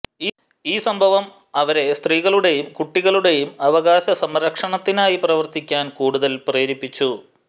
ഈ സംഭവം അവരെ സ്ത്രീകളുടെയും കുട്ടികളുടെയും അവകാശസംരക്ഷണത്തിനായി പ്രവർത്തിക്കാൻ കൂടുതൽ പ്രേരിപ്പിച്ചു